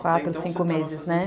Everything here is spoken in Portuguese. Quatro, cinco meses, né?